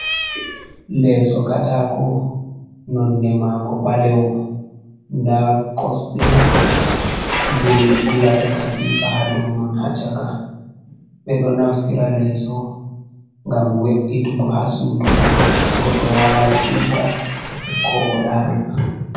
Leso katako nonɗe mago ɓalewo da kosɗe je ɓe ɓilata katifa ha doman ha chaka, ɓeɗo naftira leso gam we’itugo ha sudu godɗo wala siuta ko o ɗana.